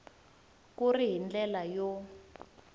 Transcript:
ku ri hi ndlela yo